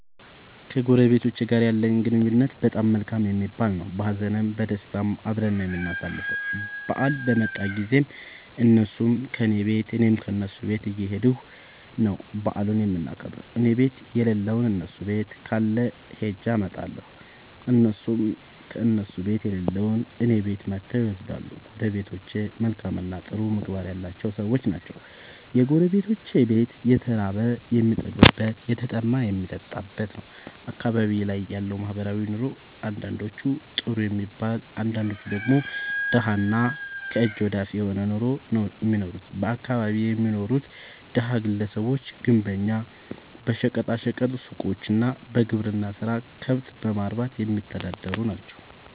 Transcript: ከጎረቤቶቸ ጋር ያለኝ ግንኙነት በጣም መልካም የሚባል ነዉ። በሀዘንም በደስታም አብረን ነዉ የምናሣልፈዉ በአል በመጣ ጊዜም እነሡም ከኔ ቤት እኔም ከነሡ ቤት እየኸድኩ ነዉ በዓሉን የምናከብር እኔቤት የለለዉን እነሡ ቤት ካለ ኸጀ አመጣለሁ። እነሡም ከእነሡ ቤት የሌለዉን እኔ ቤት መጥተዉ ይወስዳሉ። ጎረቤቶቸ መልካምእና ጥሩ ምግባር ያላቸዉ ሠዎች ናቸዉ። የጎረቤቶቼ ቤት የተራበ የሚጠግብበት የተጠማ የሚጠጣበት ነዉ። አካባቢዬ ላይ ያለዉ ማህበራዊ ኑሮ አንዳንዶቹ ጥሩ የሚባል አንዳንዶቹ ደግሞ ደሀ እና ከእጅ ወደ አፍ የሆነ ኑሮ ነዉ እሚኖሩት በአካባቢየ የሚኖሩት ደሀ ግለሰቦች ግንበኛ በሸቀጣ ሸቀጥ ሡቆች እና በግብርና ስራ ከብት በማርባትየሚተዳደሩ ናቸዉ።